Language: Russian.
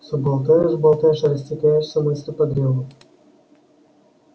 всё болтаешь болтаешь и растекаешься мыслью по древу